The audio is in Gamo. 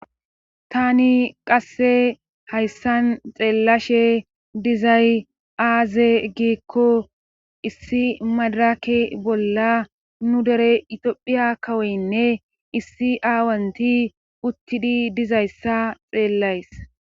tTani qasse hayssan xeellashe dizay aaze giikko issi madaraki bolla nu dere itophiya kawoynne issi aawanti uttidi dizayssa xeellays.